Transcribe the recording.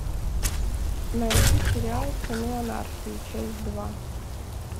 найди сериал сыны анархии часть два